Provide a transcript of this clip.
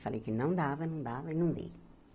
Falei que não dava, não dava e não dei.